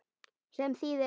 Sem þýðir?